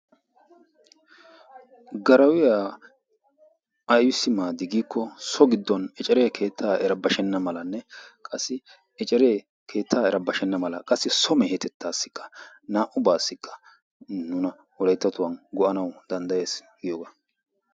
Garawiyaa aybbissi maaday giiko giddon ecceree keettaa erabashenna mala qassi keettaa erabashenna mala qassi so mehetettassikka nuun naa''ubawa Wolayttatuwaan go''anaw danddayyees giyooge.